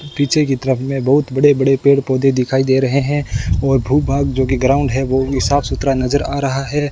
पीछे की तरफ में बहुत बड़े बड़े पेड़ पौधे दिखाई दे रहे हैं और भू भाग जो कि ग्राउंड है वो भी साफ सुथरा नजर आ रहा है।